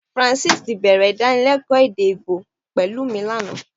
Francis tí bẹ̀rẹ̀ Ìdánilẹ́kọ̀ọ́ èdè Íbò pẹ̀lú mi lánàá